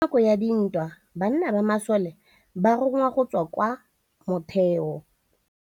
Ka nakô ya dintwa banna ba masole ba rongwa go tswa kwa mothêô.